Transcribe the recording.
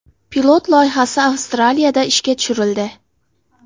Pilot loyihasi Avstraliyada ishga tushirildi.